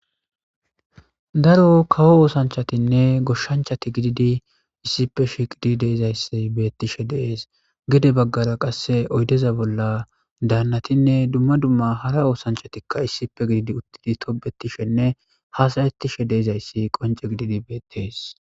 daro kawo oosanchatinne goshshanchati gididi issippe shiqidi de'ezayssi beettishe dees gede baggara qasse oydeza bolla daannatinne dumma dumma hara oosanchatikka issipe gididi uttidi tobetishenne haasayetishe de'ezayssi qonce gididi beettees